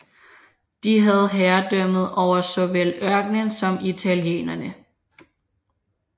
De havde herredømmet over såvel ørkenen som italienerne